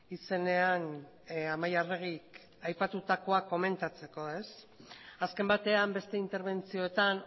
izenean amaia arregik aipatutakoa komentatzeko azken batean beste interbentzioetan